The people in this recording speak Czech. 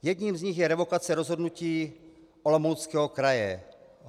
Jedním z nich je revokace rozhodnutí Olomouckého kraje.